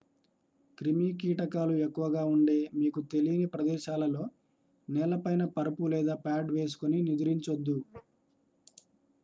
క్రిమి కీటకాలు ఎక్కువగా ఉండే మీకు తెలీని ప్రదేశాలలో నేలపైన పరుపు లేదా పాడ్ వేసుకొని నిదురించొద్దు